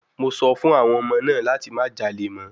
Mo sọ fún àwọn ọmọ náà láti má jalè mọ́!